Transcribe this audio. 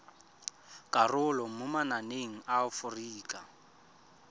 karolo mo mananeng a aforika